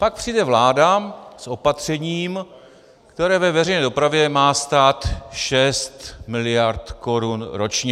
Pak přijde vláda s opatřením, které ve veřejné dopravě má stát 6 miliard korun ročně.